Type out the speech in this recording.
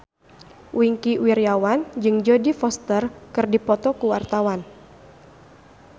Wingky Wiryawan jeung Jodie Foster keur dipoto ku wartawan